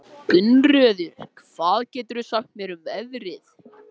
Gunnröður, hvað geturðu sagt mér um veðrið?